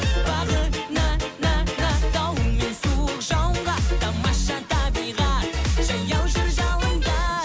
бағына на на дауыл мен суық жауынға тамаша табиғат жаяу жүр жауында